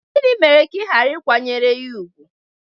Gịnị mere ka ị ghara ịkwanyere ya ùgwù?